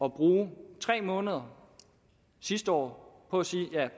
at bruge tre måneder sidste år på at sige der er